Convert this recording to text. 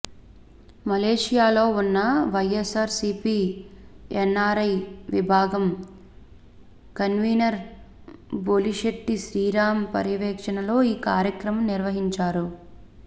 మలేషియాలో ఉన్న వైఎస్సార్ సీపీ ఎన్ఆర్ఐ విభాగం కన్వీనర్ బొలిశెట్టి శ్రీరామ్ పర్యవేక్షణలో ఈ కార్యక్రమం నిర్వహించారు